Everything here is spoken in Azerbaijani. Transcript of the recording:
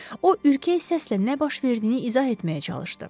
O ürkək səslə nə baş verdiyini izah etməyə çalışdı.